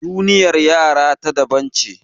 Duniyar yara ta daban ce.